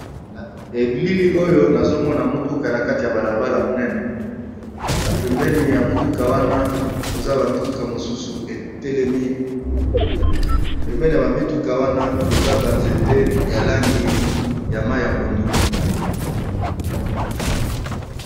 na ebilili oyo nazomona motuka na kati ya balabala monene na pembeni ya motuka wana koza bamituka mosusu etelemi pembeni ya bamituka wana koza banzete ya langi ya mai ya pondu